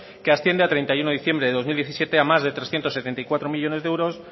que asciende a treinta y uno de diciembre de dos mil diecisiete a más de trescientos setenta y cuatro millónes de euros